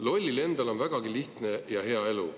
Lollil endal on vägagi lihtne ja hea elu.